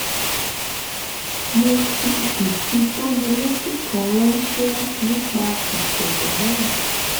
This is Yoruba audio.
mo fi ìfitónilétí kan ránṣẹ́ nípa ìṣẹ̀lẹ̀ náà